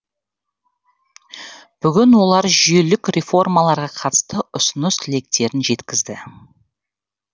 бүгін олар жүйелік реформаларға қатысты ұсыныс тілектерін жеткізді